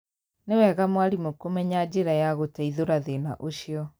nĩ wega mwarimũ kumenya njĩra ya gũteithũra thĩna ũcio.